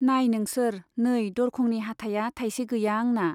नाइ नोंसोर नै दरखंनि हाथाइया थाइसे गैया आंना।